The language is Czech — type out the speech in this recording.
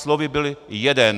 Slovy: byl jeden.